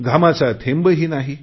घामाचा थेंबही नाही